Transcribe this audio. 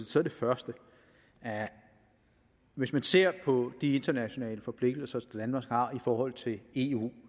så det første hvis man ser på de internationale forpligtelser som danmark har i forhold til eu